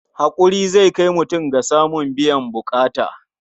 Haƙuri zai kai mutum ga samun biyan buƙata.